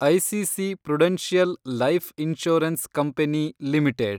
ICC prudential life insurance company limited